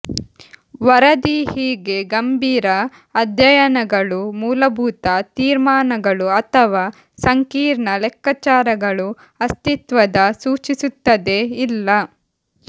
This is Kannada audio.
ವರದಿ ಹೀಗೆ ಗಂಭೀರ ಅಧ್ಯಯನಗಳು ಮೂಲಭೂತ ತೀರ್ಮಾನಗಳು ಅಥವಾ ಸಂಕೀರ್ಣ ಲೆಕ್ಕಾಚಾರಗಳು ಅಸ್ತಿತ್ವದ ಸೂಚಿಸುತ್ತದೆ ಇಲ್ಲ